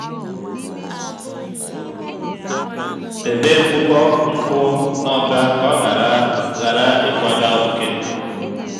debe mkpokọ nkụ n'ọba ka ọ ghara ghara ịkwaga oke.